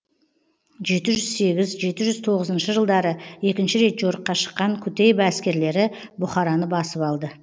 жеті жүз сегіз жеті жүз тоғызыншы жылдары екінші рет жорыққа шыққан кутейба әскерлері бұхараны басып алды